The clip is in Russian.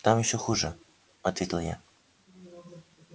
там ещё хуже ответил я